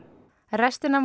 restin af